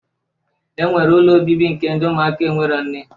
E nwere ụlọ obibi nke ndị ụmụaka enwero nne